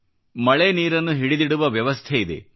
ಮಳೆ ನೀರನ್ನು ಹಿಡಿದಿಡುವ ವ್ಯವಸ್ಥೆಯಿದೆ